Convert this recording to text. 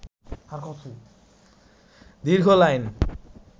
দীর্ঘ লাইন